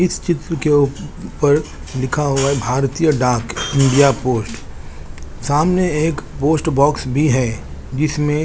इस चित्र के ऊप पर लिखा हुआ है भारतीयों डाक इंडिया पोस्ट सामने एक पोस्ट बोक्स भी है जिसमे --